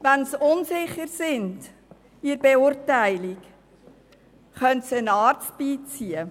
Wenn sie bei der Beurteilung unsicher sind, können sie einen Arzt hinzuziehen.